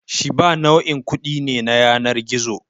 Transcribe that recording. Shiba nau'in kuɗi ne na yanar gizo.